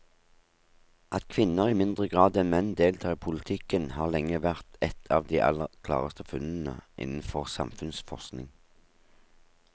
At kvinner i mindre grad enn menn deltar i politikken har lenge vært et av de aller klareste funnene innenfor samfunnsforskningen.